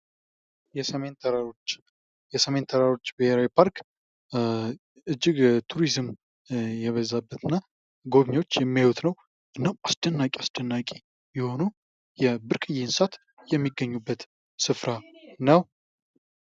የሰሜን ተራሮች፡- የሰሜን ተራሮች ብሔራዊ ፓርክ እጅግ ቱሪዝም የበዛበትና ጎብኚዎች የሚያዩት ነው። አስደናቂ አስደናቂ የሆኑ ብርቅዬ እንስሳት የሚገኝበት ስፍራ ነው።